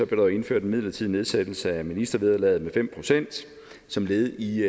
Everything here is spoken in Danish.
blev indført en midlertidig nedsættelse af ministervederlaget med fem procent som led i